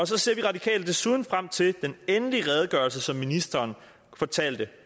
så ser vi radikale desuden frem til den endelige redegørelse som ministeren fortalte